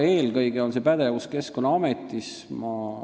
Eelkõige on see pädevus Keskkonnaametil.